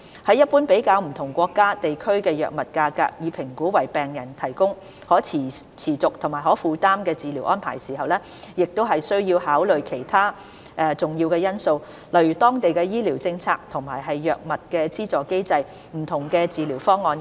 在一般比較不同國家/地區的藥物價格以評估為病人提供的可持續和可負擔治療安排時，亦需要考慮其他重要因素，例如當地的醫療政策和藥物資助機制、不同的治療方案等。